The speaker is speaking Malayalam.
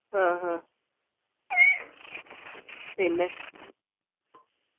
ആഹ് ഹ പിന്നെ